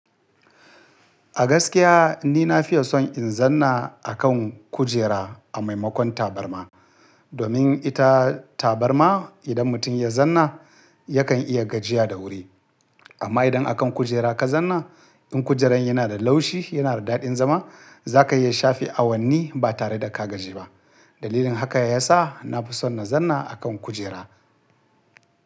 A gaskiya ni na fiya son in zanna a kan kujera a maimakon tabarma. Domin ita tabarma idan mutum ya zanna yakan iya gajiya da wuri. Amma idan a kan kujera ka zanna, in kujerar yana da laushi, yana da daɗin zama, za ka iya shafe awanni ba tare da ka gaji ba. Dalilin haka ya sa na fi son na zanna a kan kujera.